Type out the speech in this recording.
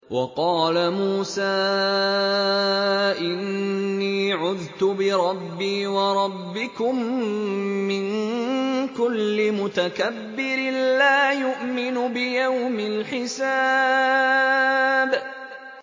وَقَالَ مُوسَىٰ إِنِّي عُذْتُ بِرَبِّي وَرَبِّكُم مِّن كُلِّ مُتَكَبِّرٍ لَّا يُؤْمِنُ بِيَوْمِ الْحِسَابِ